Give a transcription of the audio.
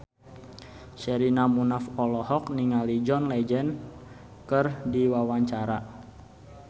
Sherina Munaf olohok ningali John Legend keur diwawancara